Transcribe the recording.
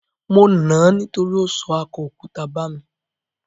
Mo nà ań nítorí ó sọ akọ òkúta bà mí.